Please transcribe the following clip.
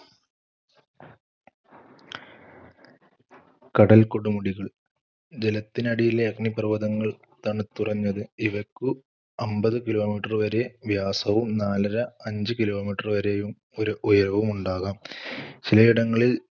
കടൽക്കൊടുമുടികൾ, ജലത്തിനടിയിലെ അഗ്നിപർവതങ്ങൾ തണുത്തുറഞ്ഞത്. ഇവക്ക് അമ്പതു kilometer. വരെ വ്യാസവും നാലര - അഞ്ച് kilometer വരെ ഉ~ഉയരവുമുണ്ടാകാം. ചിലയിടങ്ങളിൽ